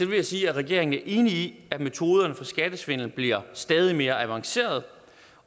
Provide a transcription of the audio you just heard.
vil jeg sige at regeringen er enig i at metoderne for skattesvindel bliver stadig mere avancerede